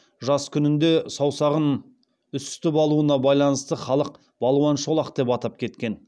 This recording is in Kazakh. жас күнінде саусағын үсітіп алуына байланысты халық балуан шолақ деп атап кеткен